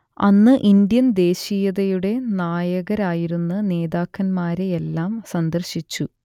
അന്ന് ഇൻഡ്യൻ ദേശീയതയുടെ നായകരായിരുന്ന നേതാക്കന്മാരെയെല്ലാം സന്ദർശിച്ചു